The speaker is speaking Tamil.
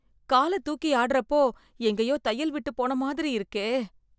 கால தூக்கி ஆடறப்போ, எங்கயோ தையல் விட்டுப்போன மாதிரி இருக்கே...